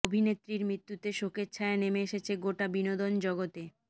অভিনেত্রীর মৃত্যুতে শোকের ছায়া নেমে এসেছে গোটা বিনোদন জগতে